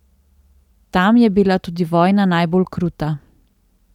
Tam je bila tudi vojna najbolj kruta.